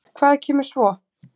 Hvað kemur svo?